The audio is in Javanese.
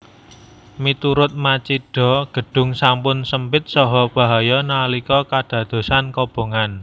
Miturut Machida gedung sampun sempit saha bahaya nalika kadadosan kobongan